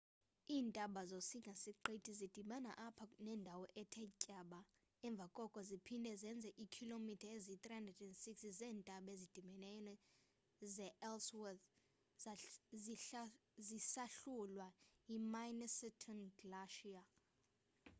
iintaba zosinga-siqithi zidibana apha nendawo ethe tyaba emva koko ziphinde zenze iikhilomitha eziyi-360 zeentaba ezidibeneyo ze-ellsworth zisahlulwa yi-minnesota glacier